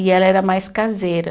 E ela era mais caseira.